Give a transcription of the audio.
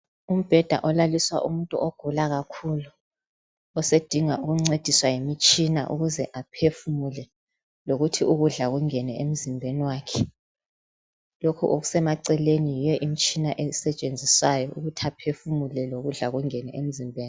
Umbheda olaliswe umuntu ogula kakhulu osedinga ukuncediswa ngemitshina ukuze aphefumule lokuthi ukudla kungene emzimbeni wakhe. Lokhu okusemaceleni yiyo imitshina esetshenziswa ukuthi aphefumule lokuthi ukudla kungene emzimbeni.